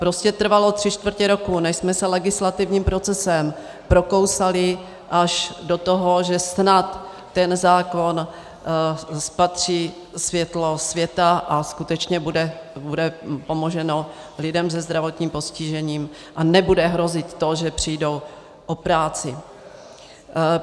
Prostě trvalo tři čtvrtě roku, než jsme se legislativním procesem prokousali až do toho, že snad ten zákon spatří světlo světa a skutečně bude pomoženo lidem se zdravotním postižením a nebude hrozit to, že přijdou o práci.